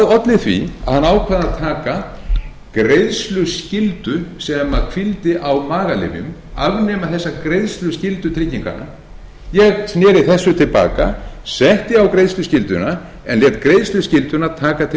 olli því að hann ákvað að taka greiðsluskyldu sem hvíldi á magalyfjum afnema þessa greiðsluskyldu trygginganna ég sneri þessu til baka setti á greiðsluskylduna en lét greiðsluskylduna taka til